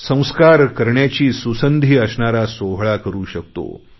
संस्कार करण्याची सुसंधी असणारा सोहळा करु शकतो